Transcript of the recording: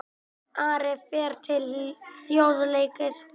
Ari fer til Þjóðleikhússins